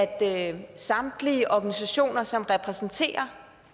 at samtlige organisationer som repræsenterer